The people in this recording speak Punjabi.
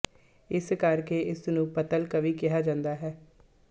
ਇਸ ਕਰ ਕੇ ਇਸ ਨੂੰ ਪੱਤਲ਼ ਕਾਵਿ ਕਿਹਾ ਜਾਂਦਾ ਹੈ